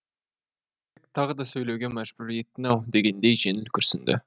тағы да сөйлеуге мәжбүр еттің ау дегендей жеңіл күрсінді